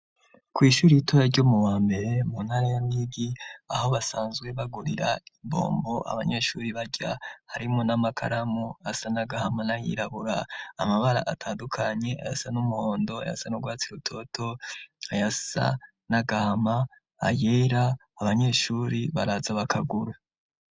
Kw'ishuri r'itoya ryomu wa mbere mu ntara ya Ruyigi aho basanzwe bagurira imbombo abanyeshuri barya harimo n'amakaramu asa n'agahama na yirabura amabara atandukanye asa n'umuhondo ayasa nurwatsi rutoto ayasa n'agahama ayera abanyeshuri baraza bakagura.